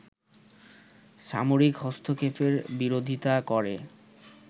সামরিক হস্তক্ষেপের বিরোধিতা করে